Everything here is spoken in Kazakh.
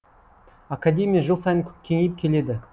академия жыл сайын кеңейіп келеді